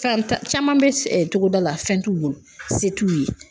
Fa tan caman bɛ togoda la, fɛn t'u bolo, se t'u ye.